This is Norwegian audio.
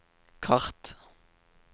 kart